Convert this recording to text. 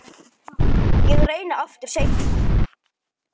Elsku Einar.